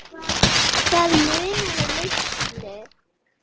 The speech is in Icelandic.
Það munaði litlu.